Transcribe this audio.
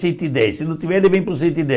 Cento e dez se não tiver, ele vem para o cento e